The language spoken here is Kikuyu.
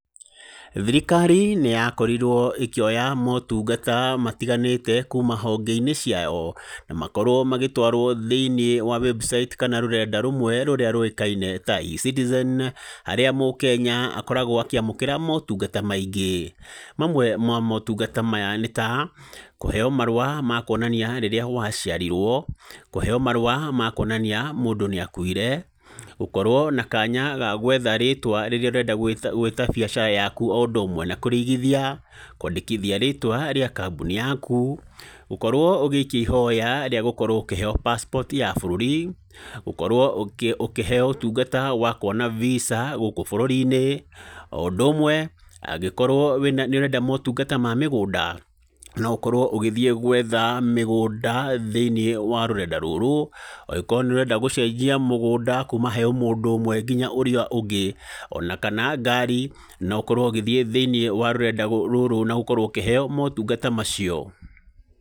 Thirikari nĩyakorirwo ĩkĩoya motungata matiganĩte kuma honge-inĩ ciayo na makorwo magĩtwarwo thĩiniĩ wa website kana rũrenda rũmwe rũrĩa rũĩkaine ta e-citizen, harĩa mũkenya akoragwo akĩamũkĩra motungata maingĩ. Mamwe ma motungata maya nĩ ta kũheyo marũa ma kuonania rĩrĩa waciarirwo, kũheo marũa ma kuonania mũndũ nĩakuire, gũkorwo na kanya ga gwetha rĩtwa rĩrĩa ũrenda gwĩta biacara yaku ũndũ ũmwe na kũrĩigithia, kwandĩkithia rĩtwa rĩa kamboni yaku, gũkorwo ũgĩikia ihoya rĩa gũkorwo ũkĩheyo passport yaku ya bũrũri, gũkorwo ũkĩheyo ũtungata wa kuona Visa gũkũ bũrũrinĩ. O ũndũmwe angĩkorwo nĩ ũrenda motungata ma mũgũnda no ũkorwo ũgĩthiĩ gwetha mĩgũnda thĩinĩ wa rũrenda rũrũ, angĩkorwo nĩ ũrenda gũcenjia mũgũnda kuma he mũndũ ũmwe nginya harĩ mũndũ ũrĩa ũngĩ ona kana ngari no ũkorwo ũgĩthiĩ thĩiniĩ wa rũrenda rũrũ na ũkorwo ũkĩheyo motungata macio.